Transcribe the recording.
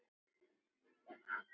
LÁRUS: Þú stendur með mér.